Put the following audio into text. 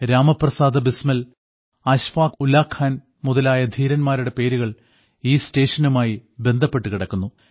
രാമപ്രസാദ ബിസ്മിൽ അശ്ഫാക് ഉല്ലാഖാൻ മുതലായ ധീരന്മാരുടെ പേരുകൾ ഈ സ്റ്റേഷനുമായി ബന്ധപ്പെട്ടു കിടക്കുന്നു